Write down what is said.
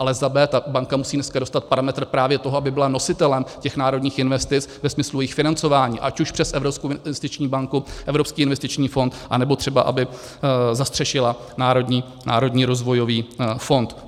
Ale za b) - ta banka musí dneska dostat parametry právě toho, aby byla nositelem těch národních investic ve smyslu jejich financování ať už přes Evropskou investiční banku, Evropský investiční fond, anebo třeba aby zastřešila Národní rozvojový fond.